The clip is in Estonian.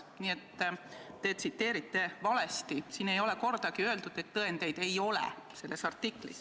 Nii et te tsiteerite valesti, selles artiklis ei ole kordagi öeldud, et tõendeid ei ole.